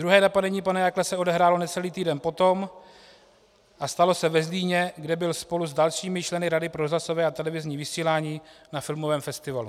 Druhé napadení pana Jakla se odehrálo necelý týden potom a stalo se ve Zlíně, kde byl spolu s dalšími členy Rady pro rozhlasové a televizní vysílání na filmovém festivalu.